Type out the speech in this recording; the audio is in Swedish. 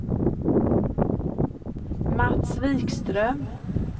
Mats Wikström